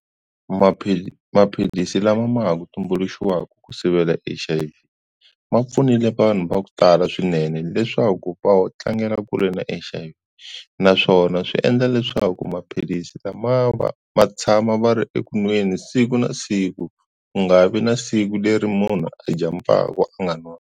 maphilisi lama ma ha ku tumbuluxiwaku ku sivela H_I_V ma pfunile vanhu va ku tala swinene leswaku va wo tlangela kule na H_I_V naswona swi endla leswaku maphilisi lama va ma tshama va ri eku nweni siku na siku ku nga vi na siku leri munhu a jampaka a nga nwanga.